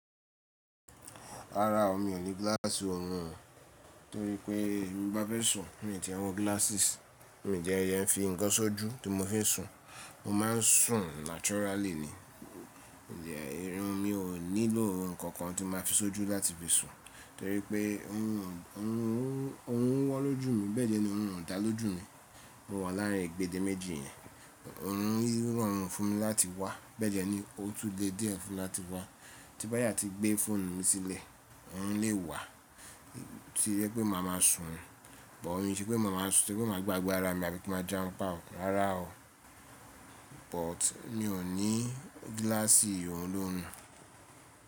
Rárá, mi ò ní glass òrun o, torí pé bí mo bá fẹ́ sùn, mi ò tí e wọ glasses. Mi dẹ ẹ fi ń kan sójú tí mo fín sùn. Mo ma ń sùn naturally ni. Ǹjẹ́ irun mi ò nílò nǹkan kan tí ma fi ṣójú láti fi sùn, torí pé òrun ó wọ́n lójú mi bẹ́ẹ̀ dẹ ni òrun ò dà lójú mi. Mo wà láàrin agbẹ́deméjì yẹn. Òrun ròrun fún mi láti wá, bẹ́ẹ̀ dẹ ni ó tún lè díẹ̀ ẹ́ fún mi láti wá. Tí bá yá ti gbé fóònù mi sílẹ̀, òrun lè wà tí jẹ pé màá má sùn, but kò ṣe pé màá má sùn, tí pé màá gbágbe ara mi àbí kí n má jarun pa o rárá o. But mi ò ní glasses olòrun.